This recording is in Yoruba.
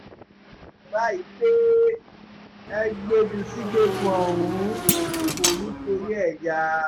báyìí pé ẹ gbé e jù sígbèkùn ọ̀run kò ní í torí ẹ̀ yá